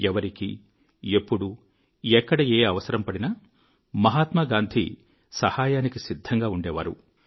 ఎవరికి ఎప్పుడు ఎక్కడ ఏ అవసరం పడినా మహాత్మాగాంధీ సహాయానికి సిద్ధంగా ఉండేవారు